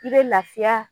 I bɛ lafiya